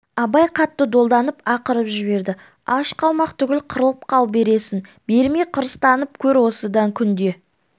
абай қатты долданып ақырып жіберді аш қалмақ түгіл қырылып қал бересің бермей қырыстанып көр осыдан күнде